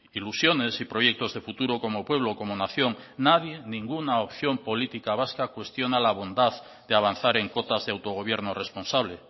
ilusiones y proyectos de futuro como pueblo como nación nadie ninguna opción política vasca cuestiona la bondad de avanzar en cotas de autogobierno responsable